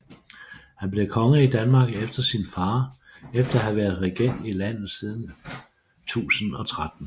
Han blev konge i Danmark efter sin far efter at have været regent i landet siden 1013